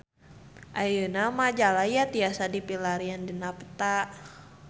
Ayeuna Majalaya tiasa dipilarian dina peta